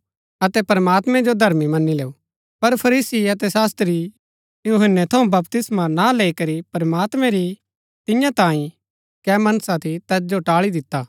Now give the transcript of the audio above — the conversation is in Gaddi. पर फरीसी अतै शास्त्री यूहन्‍नै थऊँ बपतिस्मा ना लैई करी प्रमात्मैं री तियां तांई कै मनसा थी तैत जो टाळी दिता